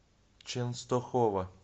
ченстохова